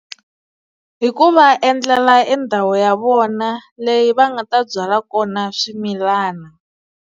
Hi ku va endlela endhawu ya vona leyi va nga ta byala kona swimilana.